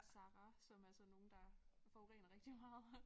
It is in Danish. Zara som er sådan nogle der forurener rigtig meget